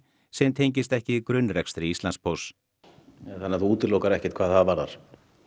sem tengist ekki grunnrekstri Íslandspósts þannig að þú útilokar ekki neitt hvað það varðar